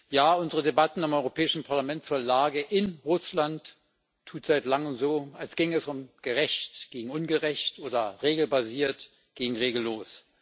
Ja unsere Debatte im Europäischen Parlament zur Lage in Russland tut seit langem so, als ginge es um gerecht gegen ungerecht oder regelbasiert gegen regellos.